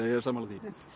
er sammála því